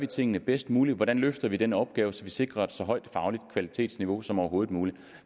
tingene bedst muligt hvordan løfter vi den opgave så vi sikrer et så højt fagligt kvalitetsniveau som overhovedet muligt